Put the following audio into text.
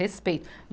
Respeito.